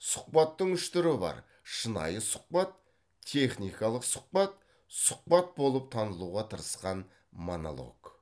сұхбаттың үш түрі бар шынайы сұхбат техникалық сұхбат сұхбат болып танылуға тырысқан монолог